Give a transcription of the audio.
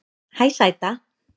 Hæ sæta